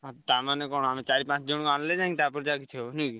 ତା ମାନେ କଣ ଚାରି ପାଞ୍ଚ ଜଣ ଆଣିଲେ ତାପରେ ଯାଇଁ କିଛି ହବ ।